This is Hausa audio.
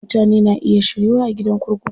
Mutane na iya shiryuwa a gidan kurkuku.